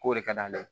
K'o de ka d'ale ye